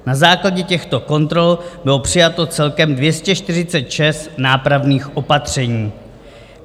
Na základě těchto kontrol bylo přijato celkem 246 nápravných opatření.